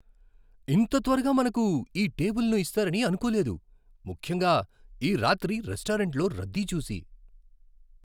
ఇంత త్వరగా మనకు ఈ టేబులును ఇస్తారని అనుకోలేదు, ముఖ్యంగా ఈ రాత్రి రెస్టారెంట్లో రద్దీ చూసి.